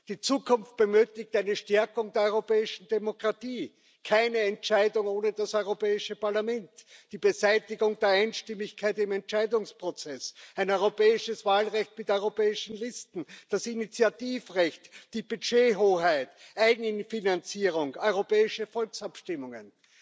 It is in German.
Die Zukunft benötigt eine Stärkung der europäischen Demokratie, keine Entscheidung ohne das Europäische Parlament, die Beseitigung der Einstimmigkeit im Entscheidungsprozess, ein europäisches Wahlrecht mit europäischen Listen, das Initiativrecht, die Budgethoheit, Eigenfinanzierung, europäische Volksabstimmungen.